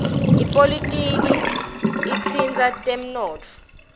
ipolitiki itsindza temnotfo